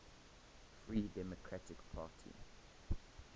free democratic party